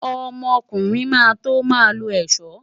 Ọmọkùnrin máa tó máa lo ẹ̀ṣọ́.